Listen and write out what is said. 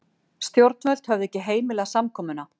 Stjórnvöld höfðu ekki heimilað samkomuna